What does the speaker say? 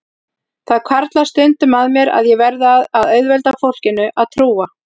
Það hvarflar stundum að mér að ég verði að auðvelda fólkinu að trúa